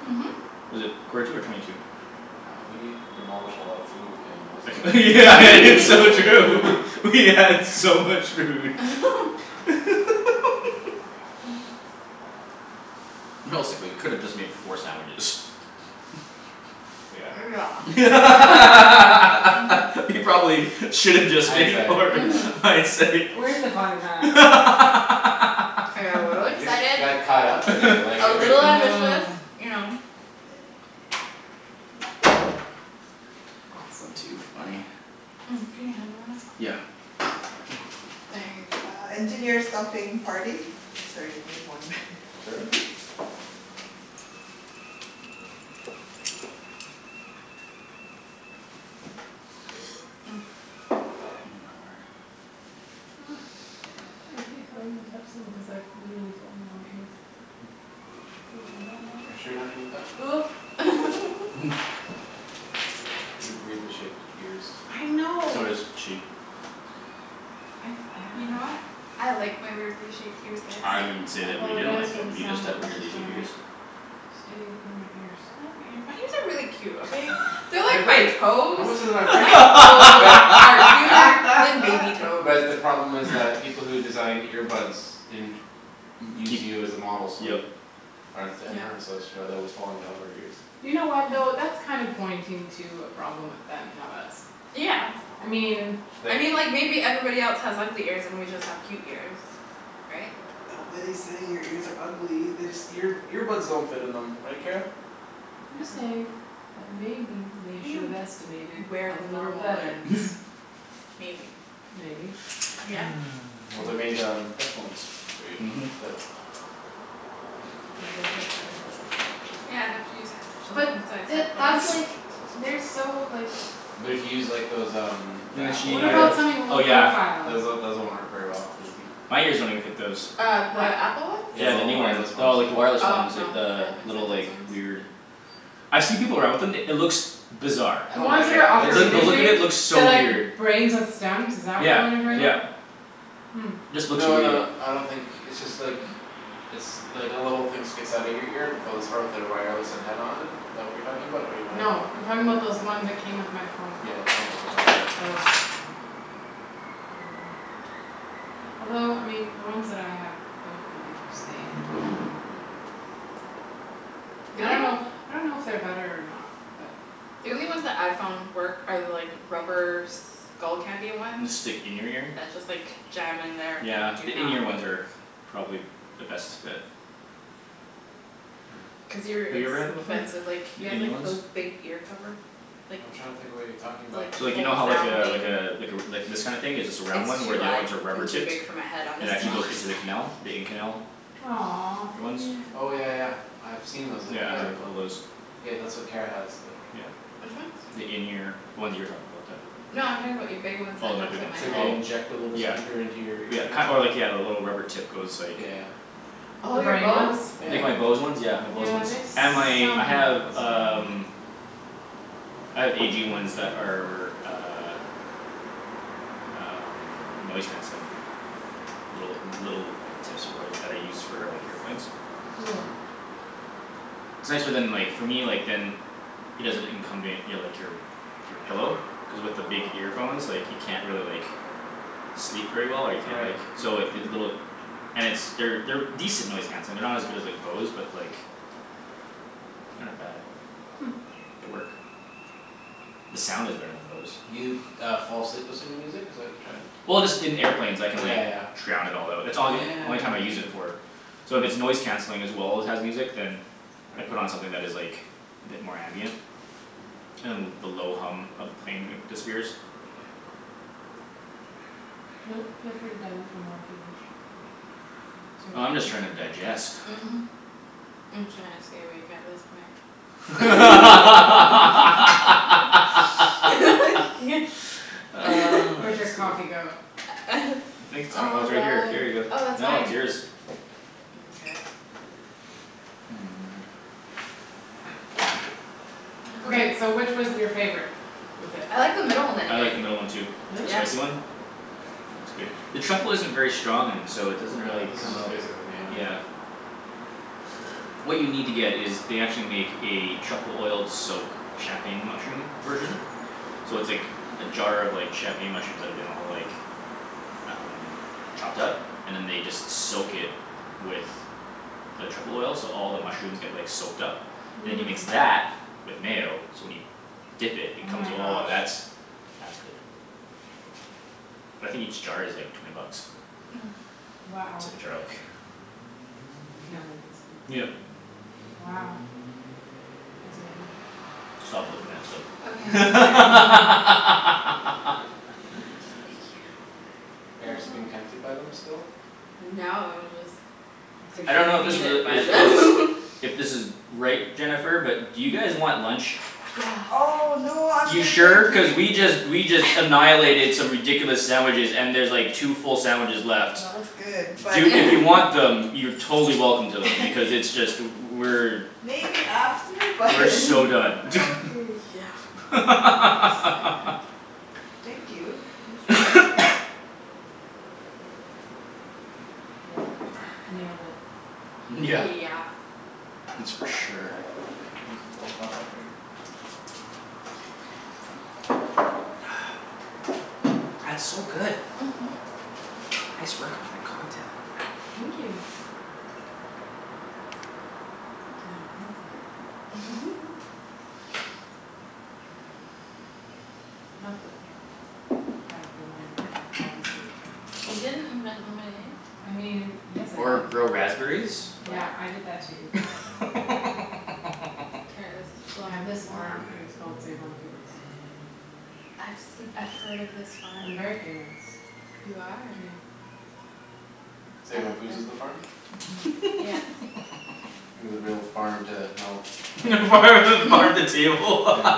Mhm Was it quarter to or twenty to? Wow we demolished a lot of food in less than It's so true. We had so much food Realistically we could've just made four sandwiches. Yeah Yeah We Mhm probably should've just Hindsight made four yeah Mhm hindsight. Where's the fun in that? I got a little We just excited. got caught up in it like A everything little ambitious, you know. Awesome. Too funny. Can you me hand one o' Yeah. Thank you. my word. So does she. I didn't say that we didn't like them. You just have weirdly shaped ears. They are great. But the problem is like people who designed ear buds didn't Use Keep you as a model yep so headphones Mhm that But to use like those um Then Those she um uh oh yeah. those one worked very well cuz My ears don't even fit those. Yeah the new ones. No like the wireless ones like the little like weird I've see people around with them it looks Bizarre. Like the look of it looks so weird. Yeah yep. Just looks really uh And stick in your ear? Yeah the in ear ones are probably the best fit. Have you ever had them before? The in ear ones? So like you know how like uh like uh like this kinda thing is just a round one where the other ones are rubber tipped? And actually goes into the canal? The in canal? Ear ones? Yeah I have a couple o' those. Yeah. The in ear. The ones you were talking about that Oh my big ones oh Yeah yeah ki- or like yeah the rubber tip goes like Like my Bose ones yeah my Bose ones and my I have um I have A G ones that are uh Um noise canceling. Little little tips for work that I use for like airplanes. It's nicer than like for me like than It doesn't incumbent your like your Your pillow. Cuz with your big earphones like you can't really like Sleep very well or you can't like so if they little And it's they're they're decent noise canceling. They're not as good as like Bose but like They're not bad. They work. The sound is better than Bose. Well just in airplanes I can like drown it all out. It's all yo- only time I use it for. So if it's noise canceling as well as has music then I put on something that is like a bit more ambient. And the low hum of the plane disappears. Oh I'm just trying to digest. I could sleep. I think it's I kno- oh it's right here here you go no it's yours. word I like the middle one too. The spicy one? It's good. The truffle isn't very strong and so it doesn't really come out. Yeah. What you need to get is they actually make a truffle oiled soak champagne mushroom version. So it's like a jar of champagne mushrooms that have been all like Um chopped up? And then they just soak it with The truffle oil so all the mushrooms get like soaked up And you mix that with mayo so when you Dip it, it comes oh that's that's good But I think each jar is like twenty bucks. It's like a jar like Yep Stop looking at them. I don't know if this is a it is If this is right, Jennifer, but do you guys want lunch? You sure? Cuz we just we just annihilated some ridiculous sandwiches and there's like two full sandwiches left. Do if you want them you're totally welcome to them because it's just we're We're so done YEah That's for sure. That's so good. Nice work on that cocktail. Or grow raspberries? Yeah farm the farm the table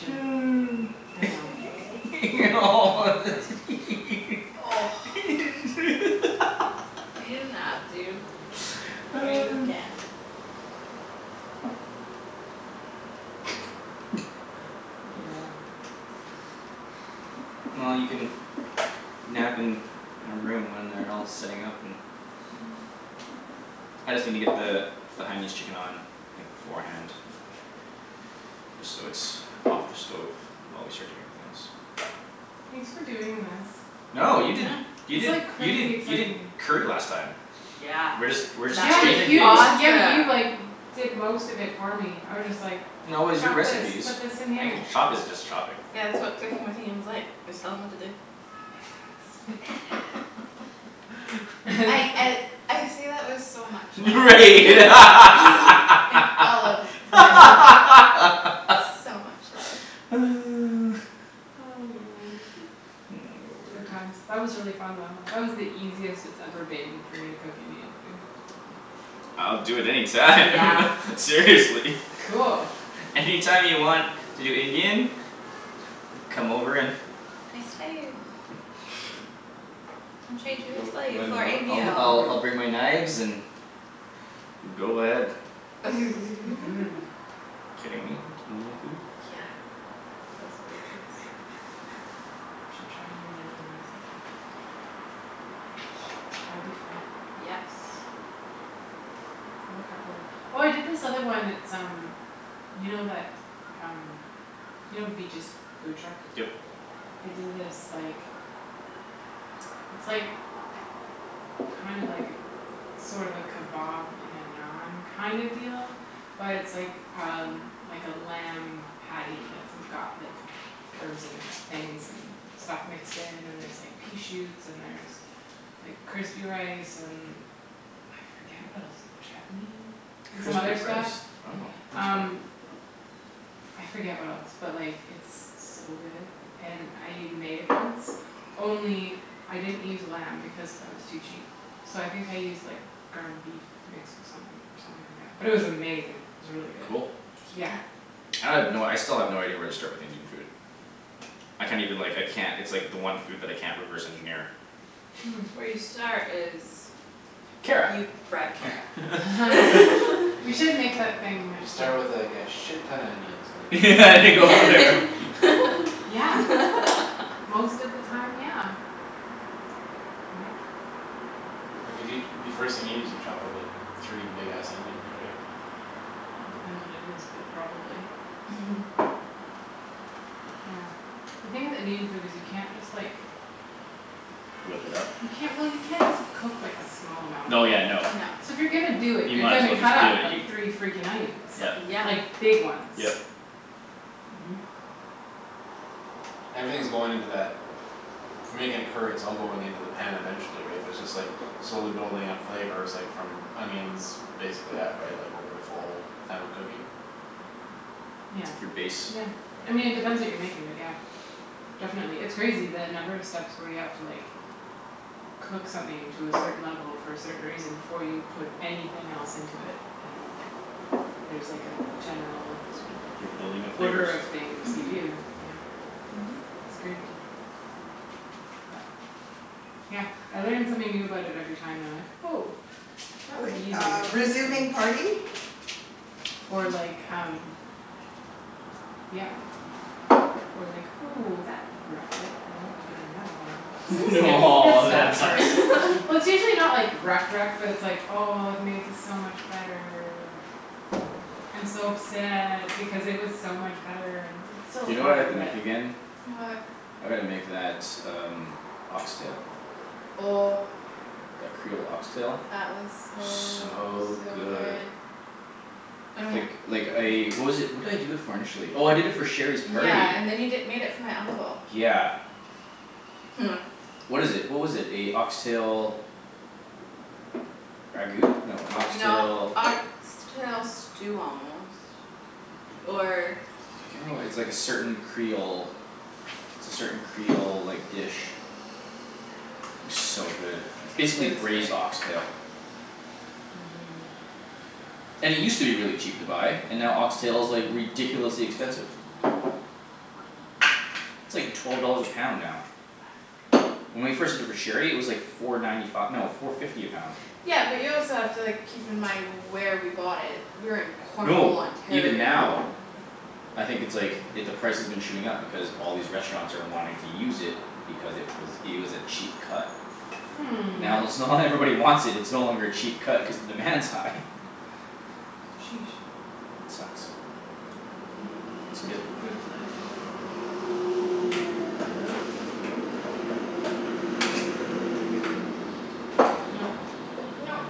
Well you can nap in a room when they're all setting up and I just needa get the The Hainanese chicken on like beforehand Just so it's off the stove while we start doing everything else. No you did you did you did you did curry last time. We're just we're just exchanging things. No it was your recipes. I can chopping is just chopping. Right word I'll do it any time Seriously. Any time you want to do Indian. Come over and I'll I'll I'll bring my knives and go ahead. Kidding me? Indian food? Yep Crispy rice wow that's fun Cool I have no I still have no idea where to start with Indian food. I can't even like I can't it's like the one food that I can't reverse engineer. Kara. and go from there. Whip it up? No yeah no You might as well just do it you Yep. Yep. It's like your base. You're building the flavors. Or like um Yeah Or like, "Ooh that wrecked it I won't be doing that again." It's like skips this Oh that stuff sucks. for Well it's usually not like wrecked wrecked but it's like, "Oh I've made this so much better" "I'm so upset because it was so much better." It's still You know what I have fine to but make again? What? I gotta make that um ox tail. Oh That creole ox tail? That was so So so good. good Oh Like yeah like I what was it what did i do it for initially? Oh I did it for Sherry's party. Yeah and then you di- made it for my uncle Yeah. What is it? What was it? A ox tail Ragout? No a ox tail No ox tail stew almost Or I can't It's like a certain creole it's a certain creole like dish. So good. It's It basically was good. braised ox tail. And it used to be really cheap to buy and now ox tail is like ridiculously expensive. It's like twelve dollars a pound now. When we first did it for Sherry it was like four ninety fi- no four fifty a pound. Yeah but you also have to like keep in mind where we bought it. We were in Cornwall, No, even Ontario. now I think it's like i- the price has been shooting up because all these restaurants are wanting to use it Because it was it was a cheap cut. Hmm Now let's now that everybody wants it it's no longer a cheap cut cuz the demand's high. Sheesh It sucks. Yep. It's Left good. in fruit fly. No Nope nope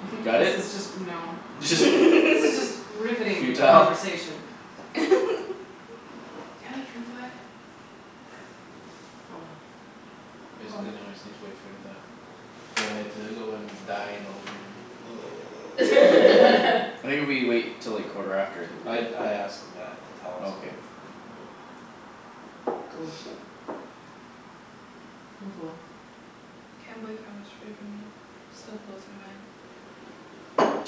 Got This it? is just no this is just riveting Futile? conversation. Damn it fruit fly. Oh well. Oh well. Basically now I just need to wait for it to Go ahead to go and die in the living room I think if we wait 'til like quarter after I think we're I good. I asked them that to tell us Okay. when when we can go Cool Cool cool Can't believe how much food we made. Still blows my mind.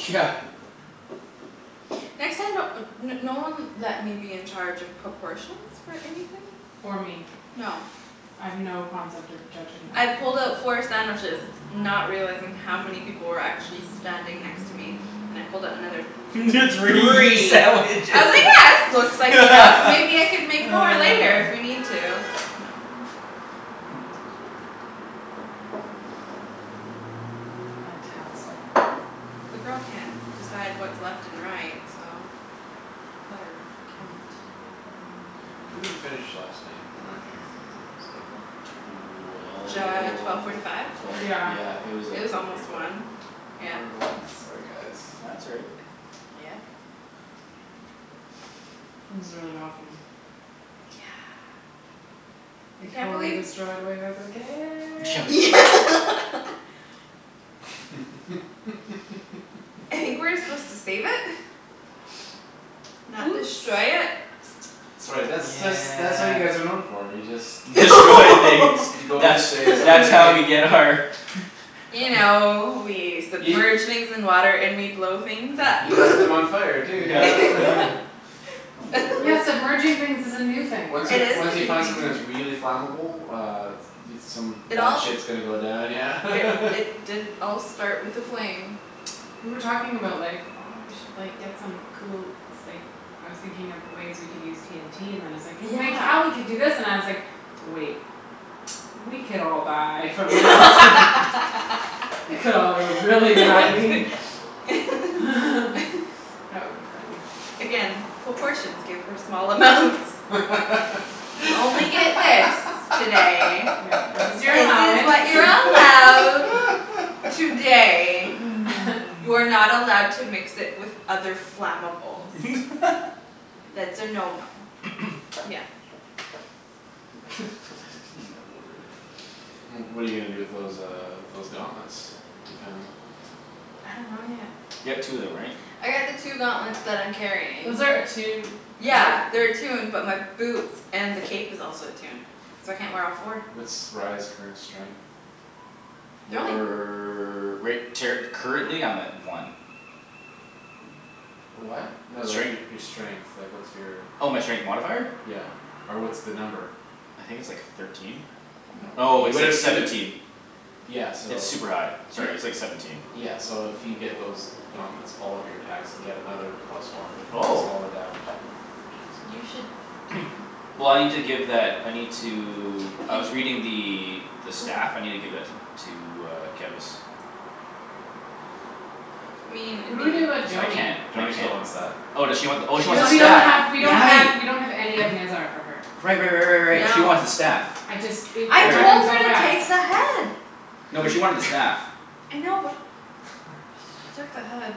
Yeah Next time don't uh no one let me be in charge of proportions for anything. Or me No I have no concept of judging I that. pulled out four sandwiches Not realizing how many people were actually standing next to me. Then I pulled out another Three three. I sandwiches. was like yeah this looks like enough maybe I could make more later if we need to. No. Oh my word. Fantastic. The girl can't decide what's left and right so let her count. When did we finish last night around here? It's like Could J- be twelve forty five? Twelve twelve Yeah yeah it was It like was twelve forty almost five. one, yeah. Brutal. Nope Sorry guys No that's all right. Uh yeah This is really awesome. Yeah I We can't totally believe destroyed Wave Echo Yeah Cave. like I think we were supposed to save it Not Oops destroy it. That's right that's that's that's what you guys are known Yeah for, you just You Destroy things. go you go into That's space and that's all how we you need get our You know we Y- submerge things in water and we blow things up You light them on fire too Yep yep. yeah Oh my word. Yeah submerging things is a new thing for Once us. you It is a once you new find something that's thing. really flammable uh Dude some It bad all shit's gonna go down yeah It it did all start with a flame. We were talking about like, "Oh we should like get some cool s- like" I was thinking of ways we can use TNT and then it's like "Then Yeah. Cali could do this" and I was like, "Wait" "We could all die from that" "It could all go really badly" That would be funny. Again, proportions good for small amounts. You only get this today. Yeah. This is your This is allowance. what you're allowed today. You are not allowed to mix it with other flammables. That's a no no. Again. Oh my word. Well what're you gonna do with those um those gauntlets you found? I dunno yet. You got two of them right? I got the two gauntlets that I'm carrying. Those are attuned right? Yeah they're attuned but my boots and the cape is also attuned so I can't wear all four. What's Rye's current strength? They're only We're right ter- currently I'm at one. What? No like Strength? your your strength, like what's your Oh my strength modifier? Yeah or what's the number? I think it's like thirteen? No Oh you it's like would've you seventeen. di- Yeah so It's all super high. right Sorry it's like seventeen. Yeah so if you get those Gauntlets, all of your and get another plus one cuz Oh all the damage is You should take 'em Well I need to give that I need to I He was reading the the Oh stuff. I need to give that to to uh Kevus. I mean What it'd do we do about be Cuz I Joany? can't I Joany still can't wants that Oh does she want She wants the oh she the wants Cuz the we don't staff. have staff we don't yeah have Right. we don't have any of Nezzar for her. Right right right right right she Yep. wants the No staff. I just it I it All right. told happened her so to fast. take the head. You No, but she did. wanted the staff. I know but she took the head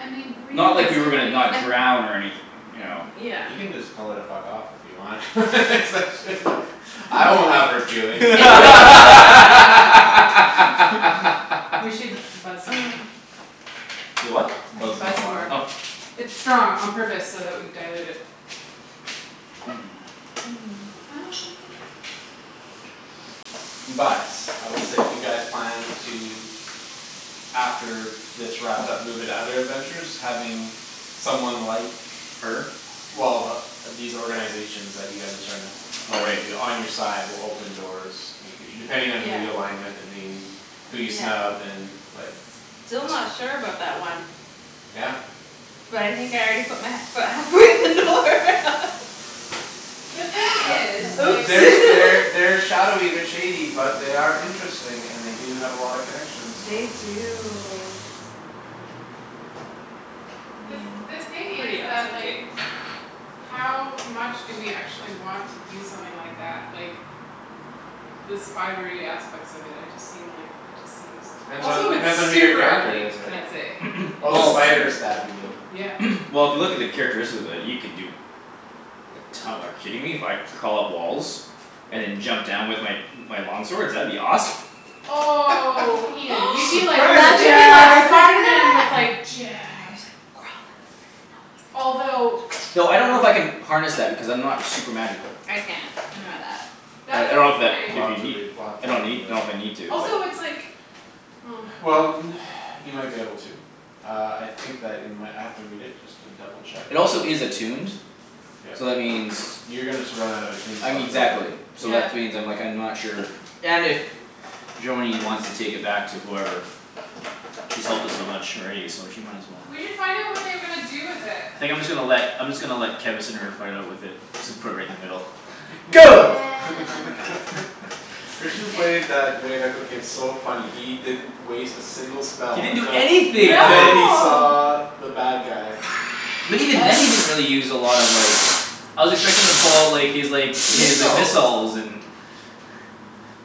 I mean Not like we were gonna realistically. not And drown or anyth- you know. Yeah You can just tell her to fuck off if you want Cuz I shouldn't've I won't have hurt feelings We should buzz some more. Y- what? I Buzz should some buzz more some more. Oh water It's strong on purpose so that we dilute it. But I will say if you guys plan to After this wrapped up move into other adventures having Someone like Her? Well th- the these organizations you guys are starting up Oh On you right. to on your side will open doors In the future depending Yeah on who you align with and who you Who you Yeah snub and like still not sure about that one Yeah But I think I already put my he- foot halfway in the door The thing Yeah. is like Oops There's They're shadowy they're shady but they are Interesting and they do have a lot of connections so They do I The th- mean the thing is pretty that awesome like cape. How much do we actually want to use something like that? Like The spidery aspects of it I just seem like it just seems Depends on Also it's depends on who your super character ugly is can right? i say? It's Oh the Well spider super. staff you mean Yeah Well if you look at the characteristics of it you can do Like to- like kidding me? If I crawl up walls? And then jump down with my my long swords? That would be awesome. Oh Imagine Ian you'd be if like Surprise I you'd be like could attack. do Spiderman with that like "Jab" I just like crawl up Although and no one else Thought I don't know if wow I can harness that because I'm not super magical. I can't I know that I That's a I don't good know if that We'll point. if have you to need read we'll have to I don't read need know if I from the need to but Also it's like oh Well n- you might be able to Uh I think that in my I might have to read it just to double check uh It also is attuned Yep So that means You're gonna sur- run out of a I mean tombstock pretty exactly clue so that Yeah which means like I'm not sure and if Joany wants to take it back to whoever She's helped us so much already so she might as well We should find out what they were gonna do with it. Think I'm just gonna let I'm just gonna let Kevus and Herb fight out with it. Just put it in the middle And Go Christian Di- played that Wave Echo case so funny. He didn't Waste a single He spell didn't do until anything that Until he day. No saw the bad guy. But even then he didn't really use a lot of like I was expecting him to pull out like his like his Missiles missiles and